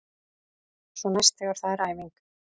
Svo næst þegar það er æfing.